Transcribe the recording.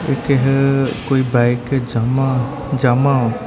ਇੱਕ ਹੈ ਕੋਈ ਬਾਈਕ ਜਾਮਾ ਜਾਮਾ --